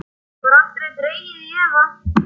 Það var aldrei dregið í efa.